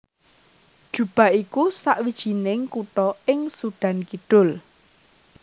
Juba iku sawijining kutha ing Sudan Kidul